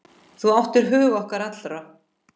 Þú áttir hug okkar allra.